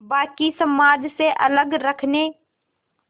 बाक़ी समाज से अलग रखने